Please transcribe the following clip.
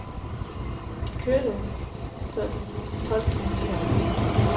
Vi kørte så de tolv kilometer. punktum